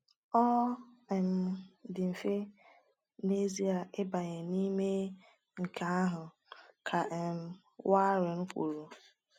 “Ọ um dị mfe n’ezie ịbanye n’ime nke ahụ,” ka um Waring kwuru.